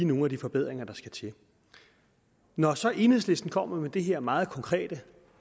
nogle af de forbedringer der skal til når så enhedslisten kommer med det her meget konkrete